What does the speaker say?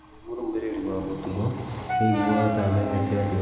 Ndaarĩ mũrũmĩrĩri wa mũtũgo, nĩ eeiguaga ta aamenyete andũ acio.